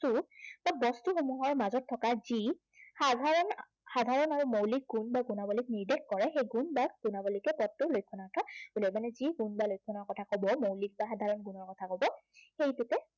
বস্তু বা বস্তুসমূহৰ মাজত থকা যি সাধাৰণ, সাধৰণ ভাৱে মৌলিক গুণ বা গুণাৱলীক নিৰ্দেশ কৰে সেই গুণ বা গুণাৱলীকে পদটোৰ লক্ষণাৰ্থ বোল। মানে যি গুণ বা লক্ষণৰ কথা কব, মৌলিক বা সাধাৰণ গুণৰ কথা কব, সেইটোকে